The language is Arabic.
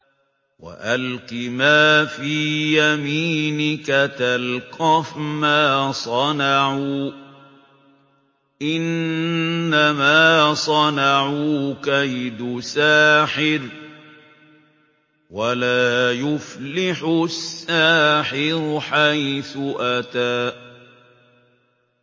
وَأَلْقِ مَا فِي يَمِينِكَ تَلْقَفْ مَا صَنَعُوا ۖ إِنَّمَا صَنَعُوا كَيْدُ سَاحِرٍ ۖ وَلَا يُفْلِحُ السَّاحِرُ حَيْثُ أَتَىٰ